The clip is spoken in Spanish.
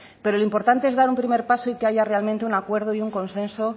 pero lo importante es dar un primer paso y que haya realmente un acuerdo y un consenso